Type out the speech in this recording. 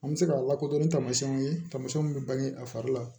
An bɛ se k'a lakodɔn ni taamasiyɛnw ye tamasiyɛnw bɛ bange a fari la